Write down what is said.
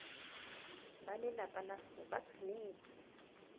balelapa la gagwe ba tshwanetse